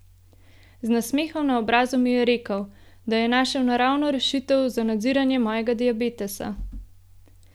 Z nasmehom na obrazu mi je rekel, da je našel naravno rešitev za nadziranje mojega diabetesa!